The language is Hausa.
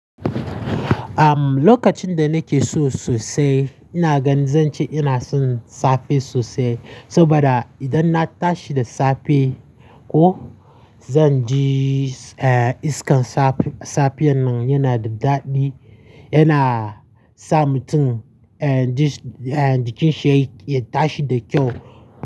Am, lokacin da nake so sosai, ina ganin zan ce ina son safe sosai. Saboda idan na tashi da safe ko zan ji, eh, iskan safe, safen nan yana da daɗi yana sa mutum, eh, ji, eh, cikin sheki ya tashi da kyau.